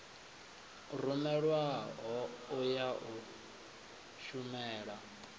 rumelwaho u ya u shumela